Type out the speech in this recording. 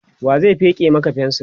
wa zai feke Maka fensir?